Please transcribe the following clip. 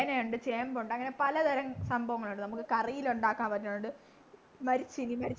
ചേനയുണ്ട് ചേമ്പുണ്ട് അങ്ങനെ പലതരം സംഭവങ്ങളുണ്ട് കറിയിലുണ്ടാക്കാൻ പറ്റുന്നത് മരച്ചീനി